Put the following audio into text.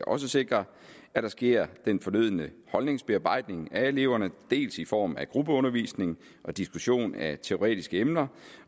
og sikre at der sker den fornødne holdningsbearbejdning af eleverne dels i form af gruppeundervisning og diskussion af teoretiske emner